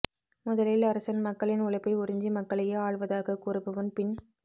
முதலில் அரசன் மக்களின் உழைப்பை உறிஞ்சி மக்களையே ஆள்வதாகக் கூறுபவன் பின்